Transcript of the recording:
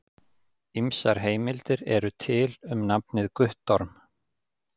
Ýmsar heimildir eru til um nafnið Guttorm.